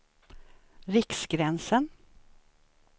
Riksgränsen